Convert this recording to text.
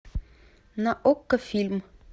на окко фильм